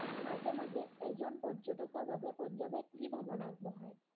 মাজে মাজে এজন পৰ্যতকৰ বাবে পঞ্জাৱে কি ভ্ৰমন আগবঢ়াই